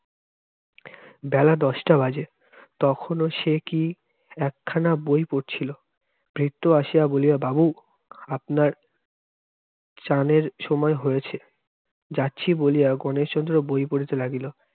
বেলা দশটা বাজে, তখনও সে কি-একখানা বই পরছিল, ভৃত্য আসিয়া বলিয়া বাবু, আপনার চানের সময় হয়েছে। যাচ্ছি বলিয়া গণেশচন্দ্র বই পরিতে লাগিল।